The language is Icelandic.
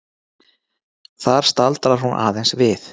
Þar staldrar hún aðeins við.